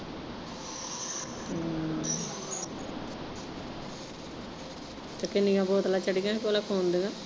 ਹਮ ਤੇ ਕਿੰਨੀਆਂ ਬੋਤਲਾਂ ਚੜੀਆ ਹੀ ਭਲਾ ਖੂਨ ਦੀਆਂ?